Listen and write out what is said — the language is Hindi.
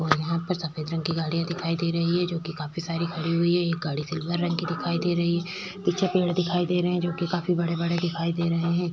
और यहाँ पर सफेद रंग की गाड़ियां दिखाई दे रही हैं जो कि काफी सारी खड़ी हुई हैं। एक गाड़ी सिल्वर रंग की दिखाई दे रही है। पीछे पेड़ दिखाई दे रहे हैं जो कि काफी बड़े-बड़े दिखाई दे रहे हैं।